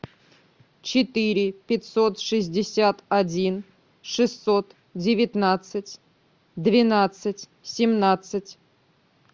четыре пятьсот шестьдесят один шестьсот девятнадцать двенадцать семнадцать